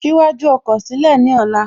Ṣí iwájú ọkọ̀ sílẹ̀ ní ọ̀la